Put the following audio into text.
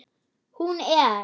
Hún er